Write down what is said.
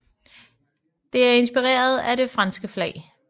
Det er inspireret af det franske flag